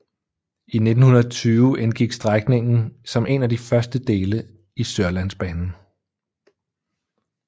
I 1920 indgik strækningen som en af de første dele i Sørlandsbanen